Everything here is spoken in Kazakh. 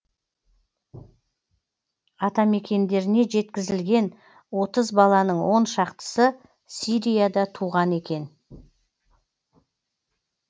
атамекендеріне жеткізілген отыз баланың он шақтысы сирияда туған екен